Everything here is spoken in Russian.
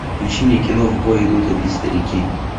включи мне кино в бой идут одни старики